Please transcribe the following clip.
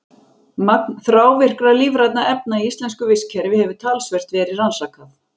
Magn þrávirkra lífrænna efna í íslensku vistkerfi hefur talsvert verið rannsakað.